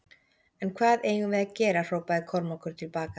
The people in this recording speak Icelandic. En hvað eigum við að gera hrópaði Kormákur til baka.